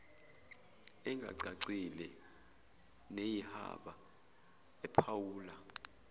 engacacile neyihaba ephawula